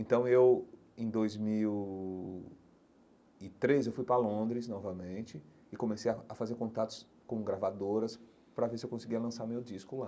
Então eu, em dois mil e treze, eu fui para Londres novamente e comecei a a fazer contatos com gravadoras para ver se eu conseguia lançar meu disco lá.